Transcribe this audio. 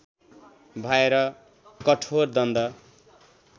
भएर कठोर दण्ड